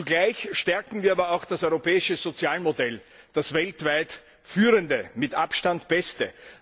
Zugleich stärken wir aber auch das europäische Sozialmodell, das weltweit führende, mit Abstand beste.